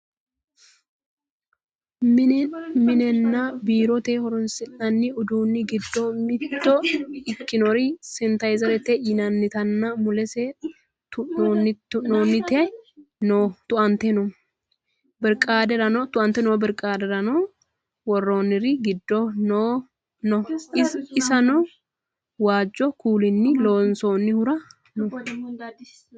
minenna biirote horonsi'nanni uduunni giddo mitto ikkinori sanitayiizerete yinannitinna mulese tua"ante noo birqaadera worroonniri giddo no insano waajjo kuulinni lonsoonnihura no